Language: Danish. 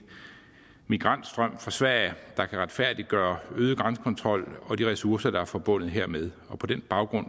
migrantstrøm fra sverige der kan retfærdiggøre øget grænsekontrol og de ressourcer der er forbundet hermed på den baggrund